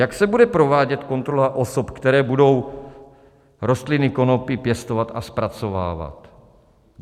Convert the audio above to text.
Jak se bude provádět kontrola osob, které budou rostliny konopí pěstovat a zpracovávat?